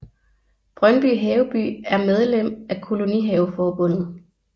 Brøndby Haveby er medlem af Kolonihaveforbundet